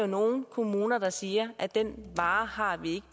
nogle kommuner der siger at den vare har